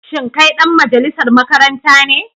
Shin kai dan majalisar makaranta ne?